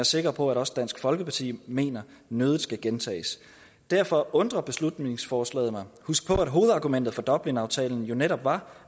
sikker på at også dansk folkeparti mener nødig skal gentages derfor undrer beslutningsforslaget mig husk på at hovedargumentet for dublinaftalen jo netop var